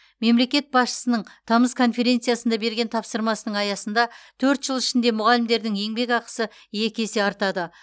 мемлекет басшысының тамыз конференциясында берген тапсырмасының аясында төрт жыл ішінде мұғалімдердің еңбекақысы екі есе артады